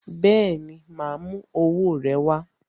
Bẹẹni, ma a mú owó rẹ wá